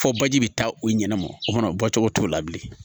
Fɔ baji bɛ taa u ɲɛnɛma o kɔnɔ o bɔcogo t'o la bilen